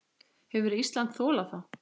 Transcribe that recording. Hefði Ísland þolað það?